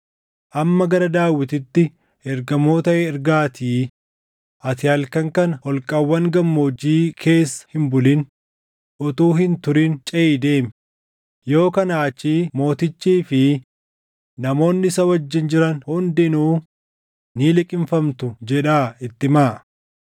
Amma gara Daawititti ergamoota ergaatii, ‘Ati halkan kana holqawwan gammoojjii keessa hin bulin; utuu hin turin ceʼii deemi; yoo kanaa achii mootichii fi namoonni isa wajjin jiran hundinuu ni liqimfamtu’ jedhaa itti himaa.”